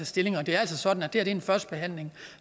stilling og det er altså sådan at det her er en første behandling og